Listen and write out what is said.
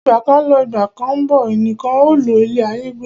Ìgbà kan ń lọ, Ìgbà kán ń bọ̀, ẹnìkan ò lo ilé ayé gbó.